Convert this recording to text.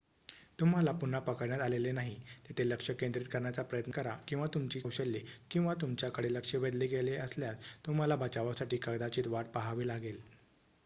तुम्हाला पुन्हा पकडण्यात आलेले नाही तिथे लक्ष केंद्रित करण्याचा प्रयत्न करा किंवा तुमची कौशल्ये किंवा तुमच्याकडे लक्ष वेधले गेले असल्यास तुम्हाला बचावासाठी कदाचित वाट पाहावी लागेल